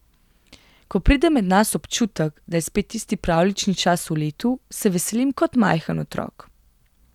Ko pride med nas občutek, da je spet tisti pravljični čas v letu, se veselim kot majhen otrok.